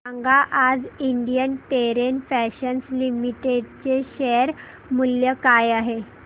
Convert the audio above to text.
सांगा आज Indian Terrain Fashions Limited चे शेअर मूल्य काय आहे